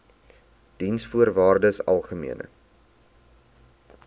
diensvoorwaardesalgemene